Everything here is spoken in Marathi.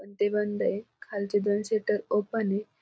पण ते बंद ये. खालचे दोन शटर ओपन ये.